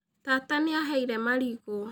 Tata nĩ aaheire marigũ.